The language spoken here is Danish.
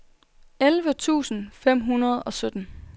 elleve tusind fem hundrede og sytten